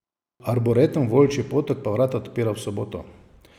Arboretum Volčji potok pa vrata odpira v soboto.